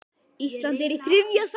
Ísland er í þriðja sæti.